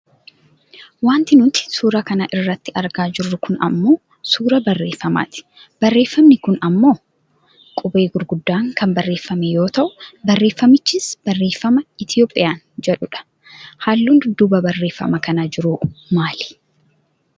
Wanti nuti suura kana irratti argaa jirru kun ammoo suuraa barreefamaati. Barreeffamni kun ammoo qubee gurguddaan kan barreefame yoo ta'u, barreeffamichis barreeffama ETHIOPIAN jedhu dha. Halluu dudduuba barreefama kanaa jiruhoo maali?